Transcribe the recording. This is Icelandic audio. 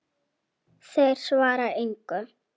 Þeir svara engu.